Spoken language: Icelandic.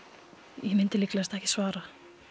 ég myndi líklegast ekki svara